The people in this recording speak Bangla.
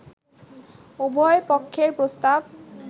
“উভয় পক্ষের প্রস্তাব